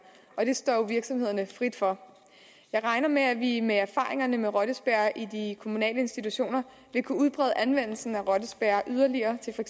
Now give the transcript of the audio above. og det står jo virksomhederne frit for jeg regner med at vi med erfaringerne med rottespærrer i de kommunale institutioner vil kunne udbrede anvendelsen af rottespærrer yderligere til for